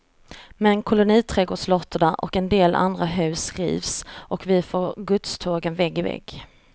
Men koloniträdgårdslotter och en del andra hus rivs, och vi får godstågen vägg i vägg.